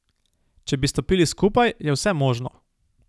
Če bi stopili skupaj, je vse možno.